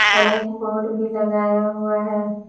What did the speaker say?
और एक बोर्ड भी लगाया हुआ है।